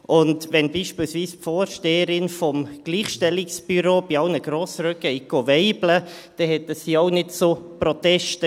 Als beispielsweise die Vorsteherin des Gleichstellungsbüros bei allen Grossräten «weibelte», führte dies auch nicht zu Protesten.